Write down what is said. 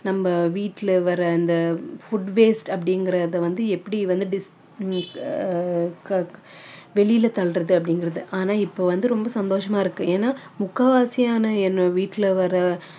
நம்ம வீட்டுல வர்ற இந்த food waste அப்படிங்கிறத வந்து எப்படி வந்து ஆஹ் வெளியில தள்ளுறது அப்படிங்கிறது ஆனா இப்போ வந்து ரொம்ப சந்தோஷமா இருக்கு ஏன்னா முக்காவாசியான என்ன வீட்டுல வர்ற